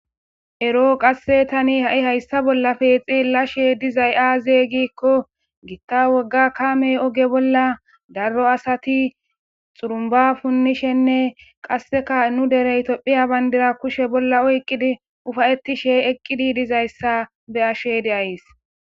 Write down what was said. Eroo qasse tani ha7i hayssa bollappe xelashe dizay aaze giikko gitta wogga kaamey oge bolla daro asati xurumba punnishenne qasseka nu derey topphiya bandira kushe bolla oyqqidi ufayetishe eqqidi dizayssa be7ashe de7ays.